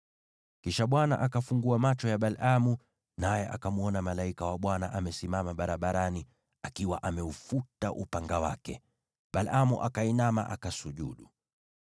Kisha Bwana akafungua macho ya Balaamu, naye akamwona malaika wa Bwana amesimama barabarani akiwa ameufuta upanga wake. Balaamu akainama, akaanguka kifudifudi.